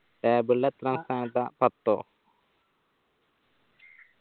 table ല് എത്രാം സ്ഥാനത്താ പത്തോ